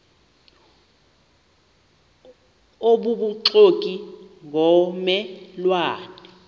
obubuxoki ngomme lwane